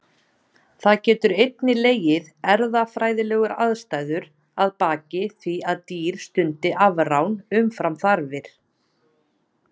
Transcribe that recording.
Það geta einnig legið erfðafræðilegar ástæður að baki því að dýr stundi afrán umfram þarfir.